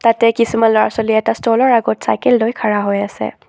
তাতে কিছুমান ল'ৰা ছোৱালীয়ে এটা ষ্ট'লৰ আগত চাইকেল লৈই খাৰা হৈ আছে।